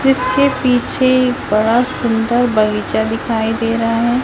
जिसके पीछे एक बड़ा सुंदर बगीचा दिखाई दे रहा है।